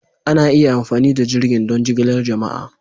Ana iya amfani da jirgin don jigilar jama'a.